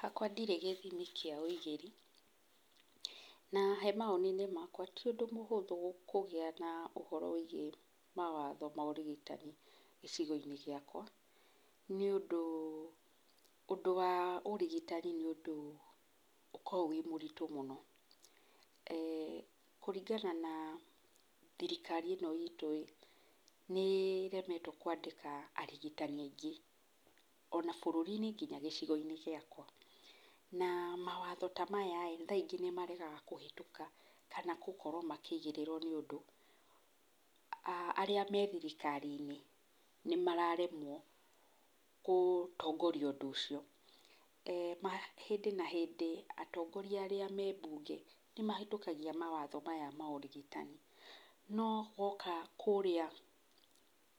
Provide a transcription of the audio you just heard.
Hakwa ndirĩ gĩthimi kĩa ũigĩri. Na he mawoni-inĩ makwa ti ũndũ mũhũthũ kũgĩa na ũhoro wĩgiĩ mawatho ma ũrigitani gĩcigo-inĩ gĩakwa. Nĩ ũndũ, ũndũ wa ũrigitani nĩ ũndũ ũkoragwo wĩ mũritũ mũno. Kũringana na thirikari ĩno itũ ĩ, nĩ ĩremetwo kwandĩka arigitani aingĩ, ona bũrũri-inĩ nginya gĩcigo-inĩ gĩakwa. Na mawatho ta maya kaingĩ nĩ maregaga kũhĩtũka kana gũkorwo makĩigĩrĩrwo nĩ ũndũ, arĩa me thirikari-inĩ, nĩ mararemwo nĩ gũtongoria ũhoro ũcio. Hĩndĩ na hĩndĩ atongoria arĩa me mbunge nĩ mahĩtũkagia mawatho maya ma ũrĩgitani, no woka kũrĩa